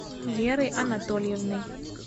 верой анатольевной